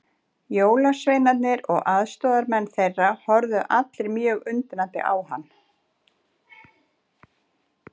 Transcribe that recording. Jólasveinarnir og aðstoðarmenn þeirra horfðu allir mjög undrandi á hann.